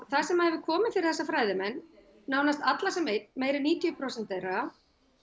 það sem hefur komið fyrir þessa fræðimenn nánast alla sem einn eða níutíu prósent þeirra